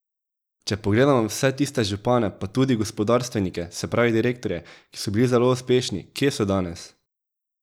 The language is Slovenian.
Če pogledamo vse tiste župane pa tudi gospodarstvenike, se pravi direktorje, ki so bili zelo uspešni, kje so danes?